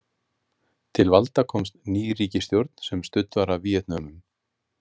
Til valda komst ný ríkisstjórn sem studd var af Víetnömum.